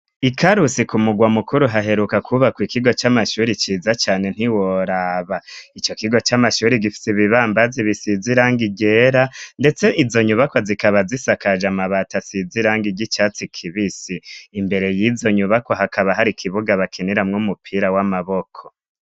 I Karusi k'umurwa mukuru, haheruka kwubaka ikigo c'amashuri ciza cane ntiworaba. Ico kigo c'amashuri gifite ibibambazi bisize irangi ryera, ndetse izo nyubako zikaba zisakaje amabati asize irangi ry'icatsi kibisi. Imbere y'izo nyubako hakaba har'ikibuga bakiniramwo umupira w'amaboko.